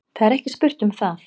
Það er ekki spurt um það.